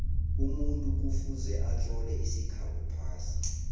umuntu kufuze atlole isikhabo phasi